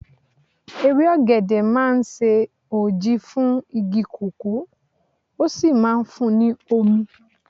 Ewé ọ̀gẹ̀dẹ̀ máa ń ṣe òji fún igi kòkó, ó sì máa ń fun ní omi.